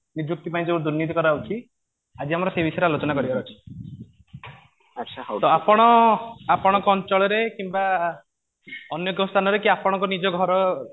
ନିଯୁକ୍ତି ପାଇଁ ଯେଉଁ ଦୁର୍ନୀତି କରାଯାଉଛି ଆଜି ଆମର ସେଇ ବିଷୟରେ ଆଲୋଚନା କରିବାର ଅଛି ତ ଆପଣ ଆପଣଙ୍କ ଅଞ୍ଚଳରେ କିମ୍ବା ଅନେକ ସ୍ଥାନ ରେ କି ନିଜ ଘର